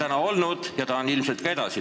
Hümn on olnud ja on ilmselt ka edasi.